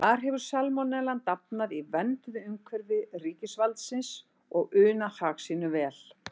Þar hefur salmonellan dafnað í vernduðu umhverfi ríkisvaldsins og unað hag sínum vel.